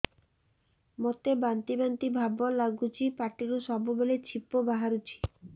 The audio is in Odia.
ମୋତେ ବାନ୍ତି ବାନ୍ତି ଭାବ ଲାଗୁଚି ପାଟିରୁ ସବୁ ବେଳେ ଛିପ ବାହାରୁଛି